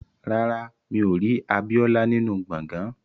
Rárá, mi ò rí Abíọ́lá nínú gbọ̀ngán